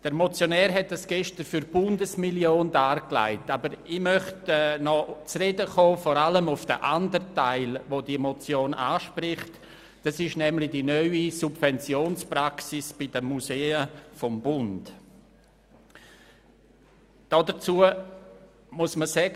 Der Motionär legte dies gestern für die Bundesmillion dar, aber ich möchte vor allem noch auf den andern Teil zu sprechen kommen, den die Motion anspricht, nämlich auf die neue Subventionspraxis des Bundes betreffend die Museen.